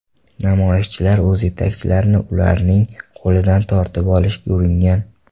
Namoyishchilar o‘z yetakchilarini ularning qo‘lidan tortib olishga uringan.